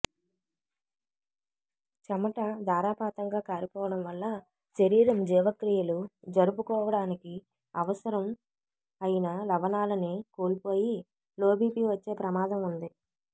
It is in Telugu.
చెమట ధారాపాతంగా కారిపోవడం వల్ల శరీరం జీవక్రియలు జరుపుకోవడానికి అవసరం అయిన లవణాలని కోల్పోయి లోబీపీ వచ్చే ప్రమాదం ఉంది